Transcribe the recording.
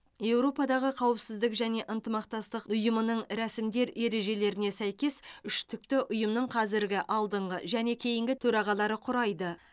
еуропадағы қауіпсіздік және ынтымақтастық ұйымының рәсімдер ережелеріне сәйкес үштікті ұйымның қазіргі алдыңғы және кейінгі төрағалары құрайды